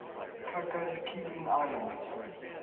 cocos keeling islands